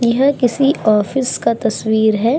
यह किसी ऑफिस का तस्वीर हैं।